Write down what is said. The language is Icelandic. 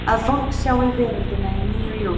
Að fólk sjái veröldina í nýju ljósi?